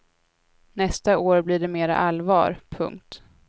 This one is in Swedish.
Nästa år blir det mer allvar. punkt